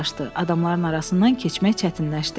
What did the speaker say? Adamların arasından keçmək çətinləşdi.